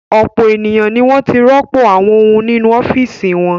Ọ̀pọ̀ ènìyàn ni wọ́n ti rọ́pò àwọn ohun nínú ọ́fíísì wọn.